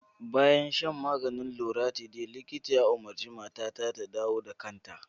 Bayan shan maganin loratiday da likita ya umarta, matata ta dawo da kanta.